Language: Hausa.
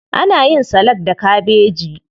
Ana yin salak da kabeji.